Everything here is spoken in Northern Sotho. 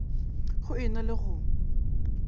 go e na le go